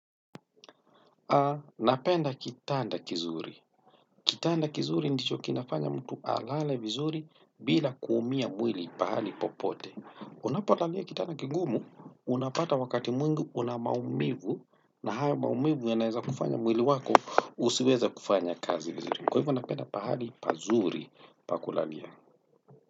Napenda kitanda kizuri. Kitanda kizuri ndicho kinafanya mtu alale vizuri bila kuumia mwili pahali popote. Unapolalia kitanda kigumu unapata wakati mwingi una maumivu na haya maumivu yanaeza kufanya mwili wako usiweza kufanya kazi vizuri. Kwa hivyo napenda pahali pazuri pa kulalia.